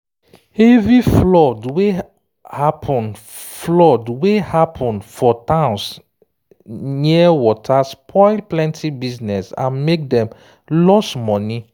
heavy flood wey happen flood wey happen for towns near water spoil plenty business and make dem lose money